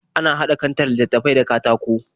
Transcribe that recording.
Ana haɗa kantar littattafai da katako